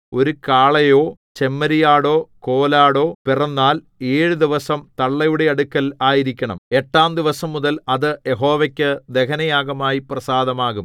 ഒരു കാളയോ ചെമ്മരിയാടോ കോലാടോ പിറന്നാൽ ഏഴു ദിവസം തള്ളയുടെ അടുക്കൽ ആയിരിക്കേണം എട്ടാം ദിവസംമുതൽ അത് യഹോവയ്ക്കു ദഹനയാഗമായി പ്രസാദമാകും